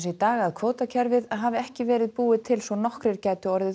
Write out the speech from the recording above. í dag að kvótakerfið hafi ekki verið búið til svo nokkrir gætu orðið